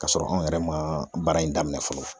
K'a sɔrɔ anw yɛrɛ ma baara in daminɛ fɔlɔ.